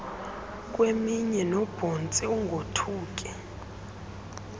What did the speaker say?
kweminwe noobhontsi ungothuki